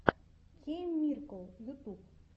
кейммирикл ютуб